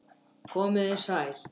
Komiði sæl!